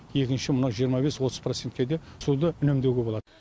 екінші мынау жиырма бес отыз процентке де суды үнемдеуге болады